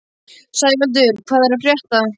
Sævaldur, hvað er að frétta?